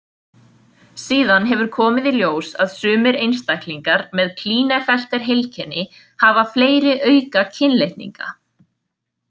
Síðan hefur komið í ljós að sumir einstaklingar með Klinefelter-heilkenni hafa fleiri aukakynlitninga.